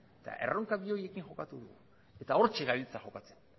eta erronka bi horiekin topatu dugu eta hortxe gabiltza jokatzen